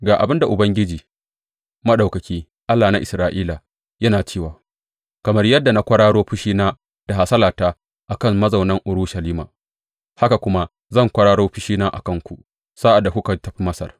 Ga abin da Ubangiji Maɗaukaki, Allah na Isra’ila, yana cewa, Kamar yadda na kwararo fushina da hasalata a kan mazaunan Urushalima, haka kuma zan kwararo fushina a kanku sa’ad da kuka tafi Masar.